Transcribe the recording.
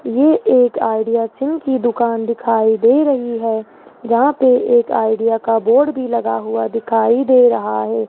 ये एक Idea SIM की दुकान दिखाई दे रही है जहां पे एक आइडिया का बोर्ड भी लगा हुआ दिखाई दे रहा है।